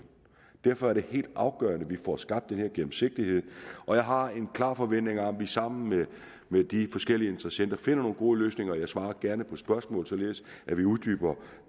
derfor er det helt afgørende at vi får skabt den her gennemsigtighed og jeg har en klar forventning om at vi sammen med de forskellige interessenter finder nogle gode løsninger jeg svarer gerne på spørgsmål således at vi uddyber